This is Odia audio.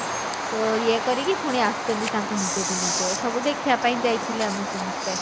ଅ ଇଏ କରିକି ପୁଣି ଆସୁଛନ୍ତି ତାଙ୍କ ନିଜ ଦୁନିଆ କୁ ଏ ସବୁ ଦେଖିଆ ପାଇଁ ଯାଇଥିଲେ ଆମେ ସମସ୍ତେ